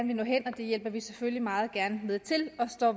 vil nå hen og det hjælper vi selvfølgelig meget gerne med til og står